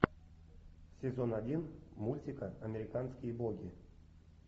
сезон один мультика американские боги